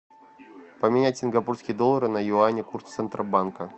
поменять сингапурские доллары на юани курс центробанка